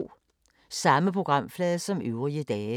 Samme programflade som øvrige dage